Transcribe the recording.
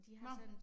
Nåh